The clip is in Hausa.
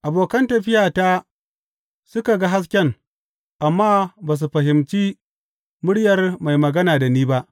Abokan tafiyata suka ga hasken, amma ba su fahimci muryar mai magana da ni ba.